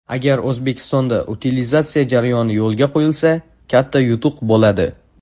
Agar O‘zbekistonda utilizatsiya jarayoni yo‘lga qo‘yilsa, katta yutuq bo‘ladi.